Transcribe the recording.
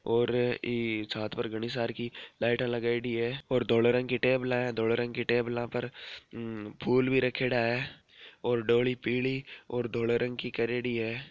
ओर ई छात पर घनी सार की लाईट लगायोडी है और धोले रंग की टेबल धोले रंग की टेबल पर फुल भी रखयोड़ा है और डोली पीली और धोले रंग की करयोड़ी है।